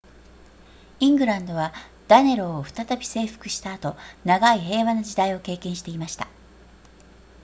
イングランドはダネローを再び征服した後長い平和な時代を経験していました